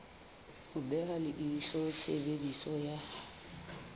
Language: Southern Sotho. ho beha leihlo tshebediso ya